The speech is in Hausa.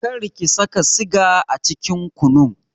Kar ki saka siga a cikin kunun!